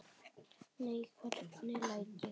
Nei, hvernig læt ég?